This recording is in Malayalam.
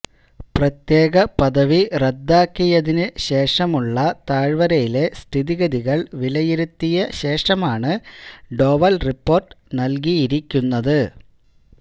പ്രത്യേക പദവി റദ്ദാക്കിയതിനു ശേഷമുള്ള താഴ്വരയിലെ സ്ഥിതിഗതികള് വിലയിരുത്തിയ ശേഷമാണ് ഡോവല് റിപ്പോര്ട്ട് നല്കിയിരിക്കുന്നത്